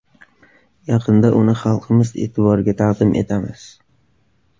Yaqinda uni xalqimiz e’tiboriga taqdim etamiz.